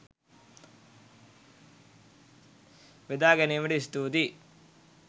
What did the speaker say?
බෙදා ගැනීමට ස්තුතියි!